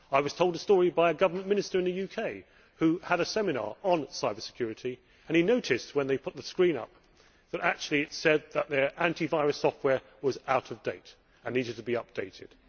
I was told a story by a government minister in the UK who had a seminar on cybersecurity and who noticed when they put the screen up that it said their anti virus software was out of date and needed to be updated.